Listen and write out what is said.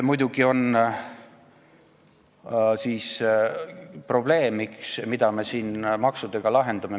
Muidugi on probleem, mida me siin maksudega lahendame.